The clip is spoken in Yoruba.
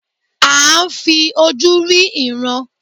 À ń fi ojú rí ìran.